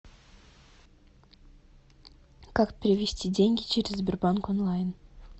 как перевести деньги через сбербанк онлайн